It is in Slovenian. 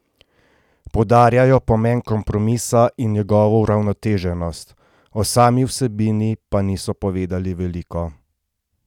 Poudarjajo pomen kompromisa in njegovo uravnoteženost, o sami vsebini pa niso povedali veliko.